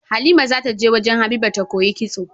Halima zata je wajan habiba ta koyi kitso